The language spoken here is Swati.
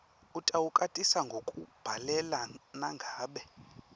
utawukwatisa ngekukubhalela nangabe